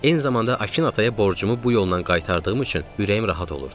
Eyni zamanda Akin ataya borcumu bu yolla qaytardığım üçün ürəyim rahat olurdu.